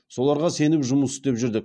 соларға сеніп жұмыс істеп жүрдік